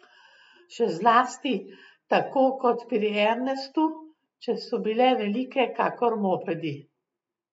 Še zlasti, tako kot pri Ernestu, če so bile velike kakor mopedi.